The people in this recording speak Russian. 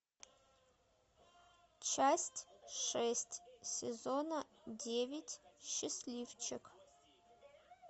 часть шесть сезона девять счастливчик